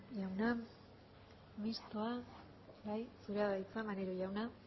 jauna mistoa zurea da hitza maneiro jauna